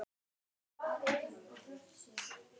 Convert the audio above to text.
Hann sagði að nú væri friðurinn úti.